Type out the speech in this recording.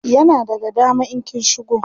yana daga dama in kin shigo